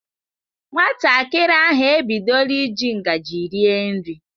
Nwatakịrị ahu ebidola iji ngaji rie nri.